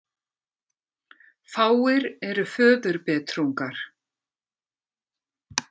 Fáir eru föðurbetrungar.